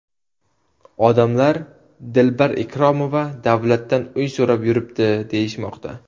Odamlar ‘Dilbar Ikromova davlatdan uy so‘rab yuribdi’, deyishmoqda.